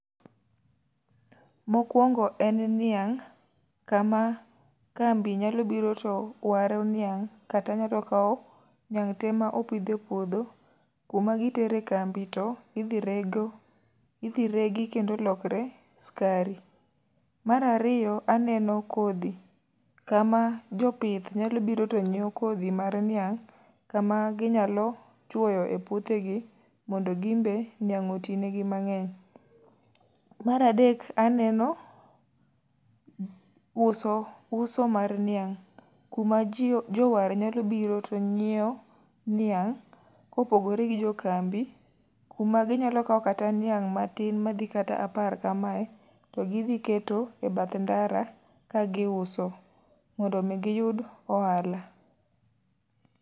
Mokwongo en niang', kama kambi nyalo biro to waro niang'. Kata ng'ato kawo niang' te ma opidh e puodho, kuma gitere kambi to idhi reg idhi regi kendo lokre skari. Marariyo, aneno kodhi kama jopith nyalo biro to nyiewo kodhi mar niang'. Kama ginyalo chwoyo e puothe gi, mondo gimbe niang' oti negi mang'eny. Maradek aneno uso, uso mar niang'. Kuma jio jowar nyalo biro to nyiewo niang', kopogore gi jo kambi. Kuma ginyalo kawo kata niang' matin madhi kata apar kamae, to gidhi keto e bath ndara ka gi uso. Mondo mi giyud ohala.